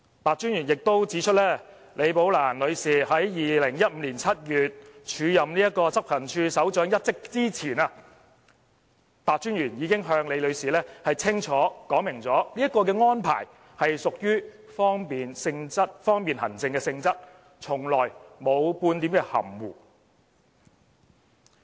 白專員亦指出，李寶蘭女士在2015年7月署任執行處首長一職前，白專員已經向李女士清楚說明，有關安排是屬於方便行政的性質，從來沒有半點含糊。